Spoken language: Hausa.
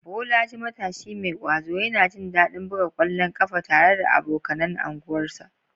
Bolaji, matashi mai ƙwazo, yana jin daɗin buga ƙwallon ƙafa tare da abokanan unguwarsa.